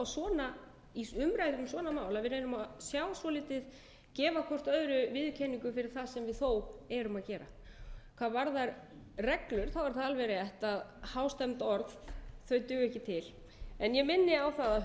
um svona mál að við reynum að gefa hvort öðru viðurkenningu fyrir það sem við þó erum að gera hvað varðar reglur er það alveg rétt að hástemmd orð duga ekki til en ég minni á að